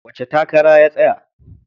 Wace takara ya tsaya?